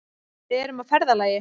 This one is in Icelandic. Við erum á ferðalagi.